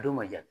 A don man jan